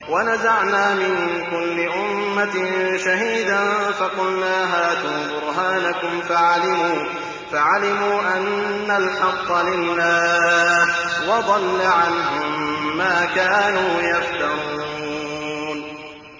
وَنَزَعْنَا مِن كُلِّ أُمَّةٍ شَهِيدًا فَقُلْنَا هَاتُوا بُرْهَانَكُمْ فَعَلِمُوا أَنَّ الْحَقَّ لِلَّهِ وَضَلَّ عَنْهُم مَّا كَانُوا يَفْتَرُونَ